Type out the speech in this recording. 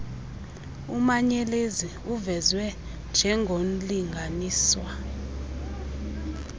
umanyelenzi uvezwe njengornlinganiswa